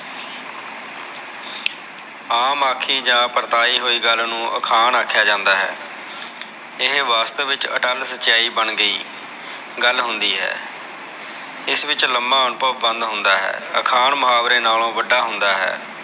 ਆਮ ਆਖੀ ਜਾ ਪਰਤਾਈ ਹੋਈ ਗਲ ਨੂ ਅਖਾਣ ਆਖਿਆ ਜਾਂਦਾ ਹੈ ਇਹ ਵਾਸਤਵ ਵਿਚ ਅਟਲ ਸਚਾਈ ਬਣ ਗਈ ਗਲ ਹੁੰਦੀ ਹੈ ਇਸ ਵਿਚ ਲਮਾ ਅਨੁਭਵ ਬੰਦ ਹੁੰਦਾ ਹੈ ਅਖਾਣ ਮੁਹਾਵਰੇ ਨਾਲੋ ਵਡਾ ਹੁੰਦਾ ਹੈ